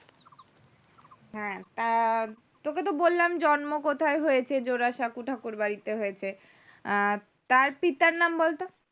হ্যাঁ আহ তোকে তো বললাম জন্ম কোথায় হয়েছে জোড়াসাঁকো ঠাকুরবাড়িতে হচ্ছে আহ তার পিতার নাম বল তো